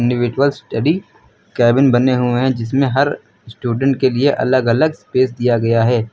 Individual study cabin बने हुए हैं जिसमें हर स्टूडेंट के लिए अलग अलग स्पेस दिया गया है।